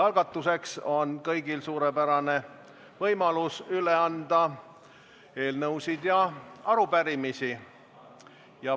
Alustuseks on kõigil suurepärane võimalus üle anda eelnõusid ja arupärimisi.